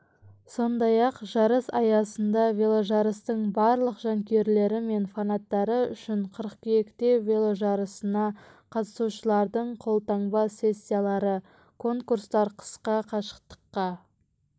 сондай-ақ жарыс аясында веложарыстың барлық жанкүйерлері мен фанаттары үшін қыркүйекте веложарысына қатысушылардың қолтаңба-сессиялары конкурстар қысқа қашықтыққа